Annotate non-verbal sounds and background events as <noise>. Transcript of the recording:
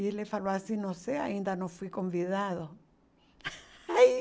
E ele falou assim, não sei, ainda não fui convidado. <laughs> Aí